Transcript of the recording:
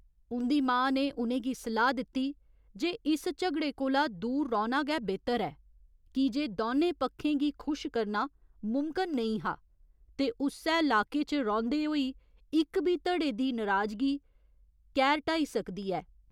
उं'दी मां ने उ'नें गी सलाह् दित्ती जे इस झगड़े कोला दूर रौह्‌ना गै बेह्तर ऐ कीजे दौनें पक्खें गी खुश करना मुमकन नेईं हा ते उस्सै लाके च रौंह्दे होई इक बी धड़े दी नराजगी कैह्‌र ढ्हाई सकदी ऐ।